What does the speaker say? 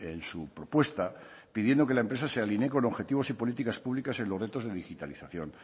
en su propuesta pidiendo que la empresa se alinee con objetivos y políticas públicas en los retos de digitalización